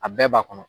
A bɛɛ b'a kɔnɔ